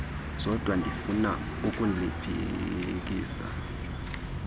zodwa ndifuna ukuliphikisa